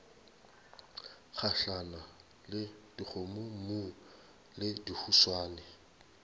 gahlana le dikgomommuu le dihuswane